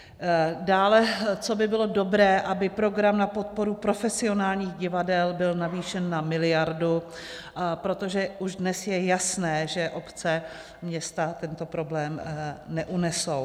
Dále co by bylo dobré, aby program na podporu profesionálních divadel byl navýšen na miliardu, protože už dnes je jasné, že obce, města tento problém neunesou.